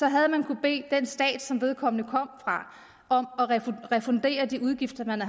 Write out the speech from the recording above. havde man kunnet bede den stat som vedkommende kom fra om at refundere de udgifter man